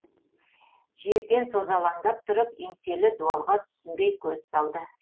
жерден созалаңдап тұрып еңселі дуалға түсінбей көз салды